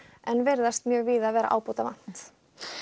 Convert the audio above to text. en virðist mjög víða vera ábótavant